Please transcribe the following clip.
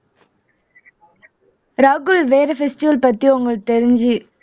ராகுல் வேற festival பத்தி உங்களுக்கு தெரிஞ்சு